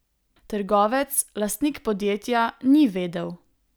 Trgovec, lastnik podjetja, ni vedel.